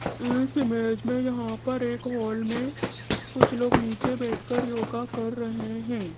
इस इमेज में यहां पर एक हॉल में कुछ लोग नीचे बैठकर योगा कर रहे हैं।